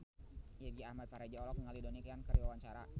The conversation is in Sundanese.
Irgi Ahmad Fahrezi olohok ningali Donnie Yan keur diwawancara